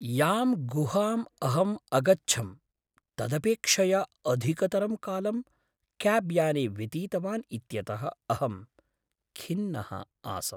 यां गुहाम् अहम् अगच्छं तदपेक्षया अधिकतरं कालं क्याब्याने व्यतीतवान् इत्यतः अहं खिन्नः आसम्।